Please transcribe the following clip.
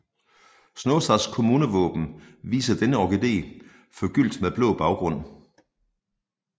Snåsas kommunevåben viser denne orkidé forgyldt med blå baggrund